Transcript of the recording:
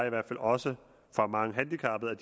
i hvert fald også fra mange handicappede